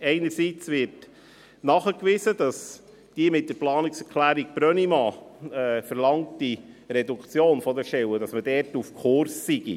Einerseits wird nachgewiesen, dass die mit der Planungserklärung Brönnimann verlangte Reduktion der Stellen auf Kurs sei.